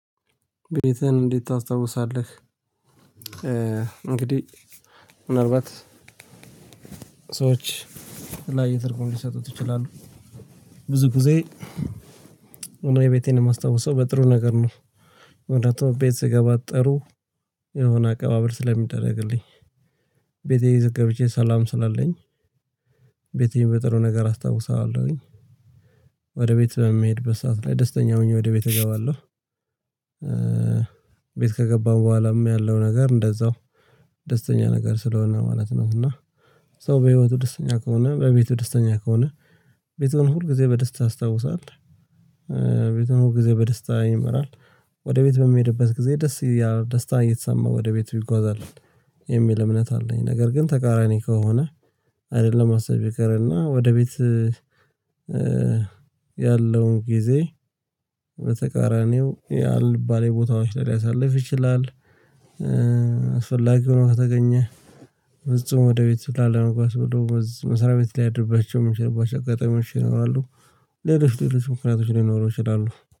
ቤትህን እንዴት ታስታውሳለህ? እንግዲህ ምናልባት ቤትህን እንዴት ታስታውሳለህ? እንግዲህ ምናልባት ብዙ ጊዜ እኔ ቤቴን የማስታውሰው በጥሩ ነገር ነው። ወደ አቶ ቤት ስገባ ጥሩ የሆነ አቀባበል ስለሚደረግልኝ። ቤቴ ይዘ ገብቼ ሰላም ስላለኝ ቤቴን በጥሩ ነገር አስታውሳዋለሁኝ። አስታውሳለሁኝ ወደ ቤት በምሄድ በሰአት ላይ ደስተኛ ሆኜ ወደ ቤት እገባለ። ቤት ከገባን በኋላም ያለው ነገር እንደዛው ደስተኛ ነገር ስለሆነ ማለት ነው። እና ሰው በህይወቱ ደስተኛ ከሆነ በቤቱ ደስተኛ ከሆነ ቤቱን ሁል ጊዜ በደስታ ያስታውሳል ቤቱን ሁል ጊዜ በደስታ ይመራል። ወደ ቤት በሚሄድበት ጊዜ ደስ ያ ደስታ እየተሰማ ወደ ቤቱ ይጓዛል። የሚል እምነት አለኝ ነገር ግን ተቃራኒ ከሆነ አይደለም ማሰብ ይቀርና ወደ ቤት ያለውን ጊዜ በተቃራኒው ያአልባሌ የቦታዎች ላይ ሊያሳልፍ ይችላል። አስፈላጊ ሆኖ ከተገኘ ፍጹም ወደ ቤት ላለመግባት ብሎ በዛ መስጋስ በዛ መሰሪያቤት ሊያድርባቸው ሚችልባቸው አጋጣሚዎች ይኖራሉ ሌሎች ሌሎች ምክንያቶች ሊኖሩ ይችላሉ።